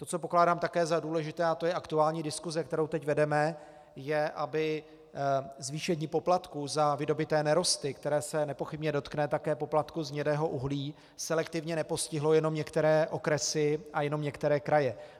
To, co pokládám také za důležité - a to je aktuální diskuse, kterou teď vedeme -, je, aby zvýšení poplatků za vydobyté nerosty, které se nepochybně dotkne také poplatku z hnědého uhlí, selektivně nepostihlo jenom některé okresy a jenom některé kraje.